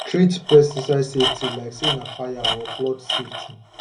treat pesticide safety like say na fire or flood safety